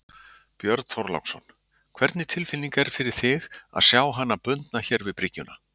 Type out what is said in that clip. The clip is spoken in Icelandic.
Björn Þorláksson: Hvernig tilfinning er fyrir þig að sjá hana bundna hér við bryggju?